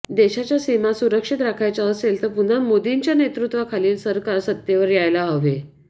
देशाच्या सीमा सुरक्षित राखायच्या असेल तर पुन्हा मोदींच्या नेतृत्वाखालील सरकार सत्तेवर यायला हवे